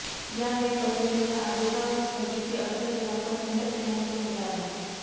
या वेळी पत्नीने या आदेशावर स्थगिती अर्ज केला पण खंडपीठाने तो फेटाळला